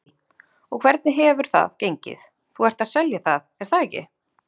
Lillý: Og hvernig hefur það gengið, þú ert að selja það er það ekki?